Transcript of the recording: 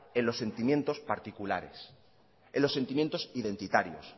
en los sentimientos particulares en los sentimientos identitarios